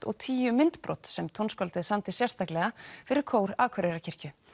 og tíu myndbrot sem tónskáldið samdi sérstaklega fyrir kór Akureyrarkirkju